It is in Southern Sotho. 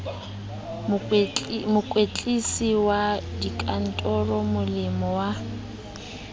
mohlwekisi wa dikantoro molemi wa